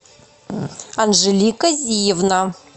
анжелика зиевна